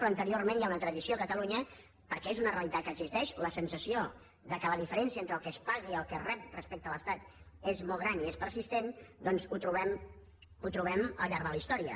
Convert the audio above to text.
però anteriorment hi ha una tradició a catalunya perquè és una realitat que existeix la sensació que la diferència entre el que es paga i el que es rep respecte a l’estat és molt gran i és persistent i doncs ho trobem al llarg de la història